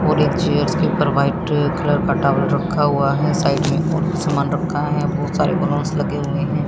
और एक चेयर्स के ऊपर व्हाइट कलर का टॉवल रखा हुआ है साइड में और भी समान रखा है बहोत सारे बैलूंस लगे हुए है।